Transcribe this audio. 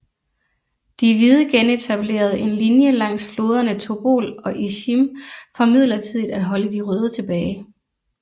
De Hvide genetablerede en linje langs floderne Tobol og Isjim for midlertidig at holde de Røde tilbage